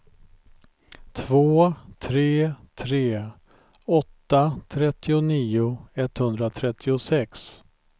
två tre tre åtta trettionio etthundratrettiosex